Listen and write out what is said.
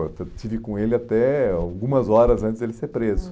Eu tive com ele até algumas horas antes de ele ser preso. Hum